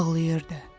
Ağlayırdı.